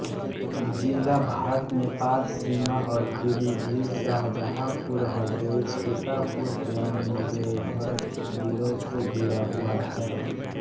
ज़िला भारतनेपाल सीमा और पीलीभित शाहजहांपुर हरदोई सीतापुर एवं बेहरच जिलों से घिरा हुआ है